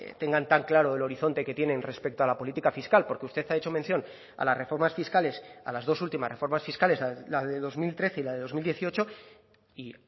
tengan tan claro el horizonte que tienen respecto a la política fiscal porque usted ha hecho mención a las reformas fiscales a las dos últimas reformas fiscales la de dos mil trece y la de dos mil dieciocho y